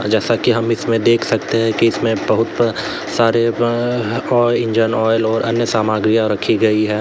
जैसा कि हम इसमें देख सकते हैं कि इसमें बहुत सारे अअ इंजन ऑयल और अन्य सामग्रियां रखी गई हैं।